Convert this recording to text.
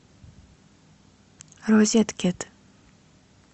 розеткед